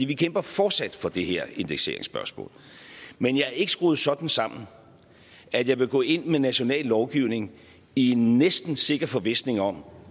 vi kæmper fortsat for det her indekseringsspørgsmål men jeg er ikke skruet sådan sammen at jeg vil gå ind med national lovgivning i en næsten sikker forvisning om